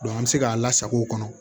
an mi se k'a lasako kɔnɔ